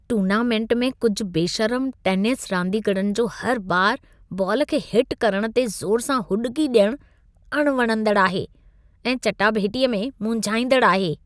Tournament में कुझि बेशर्म टेनिस रांदीगरनि जो हर बार बाल खे हिट करण ते ज़ोर सां हुॾिकी ॾियण अणवणंदड़ आहे ऐं चटाभेटीअ में मुंझाईंदड़ आहे।